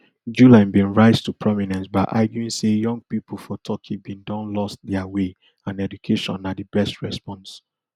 gulen bin rise to prominence by arguing say young pipo for turkey bin don lost dia way and education na di best response